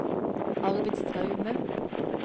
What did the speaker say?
Arvid Straume